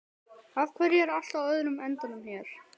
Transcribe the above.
Af hverju er allt á öðrum endanum hérna?